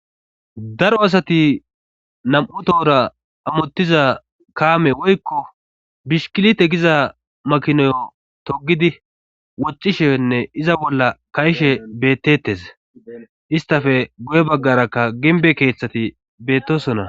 Daro asati nam7u tohora amottiza kaame woykko bishkilite giza makinoyo togidi woccishenne iza bolla kayishe bettettes istafe go7e baggarakka ginbe keeththati bettosona.